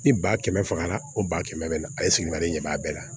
Ni ba kɛmɛ fagara o ba kɛmɛ bɛ na a ye sigiɲɔgɔn de b'a bɛɛ la